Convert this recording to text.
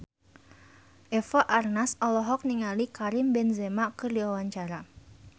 Eva Arnaz olohok ningali Karim Benzema keur diwawancara